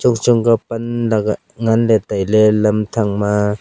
chongchong kah pan lagah nganley tailey lam thak ma.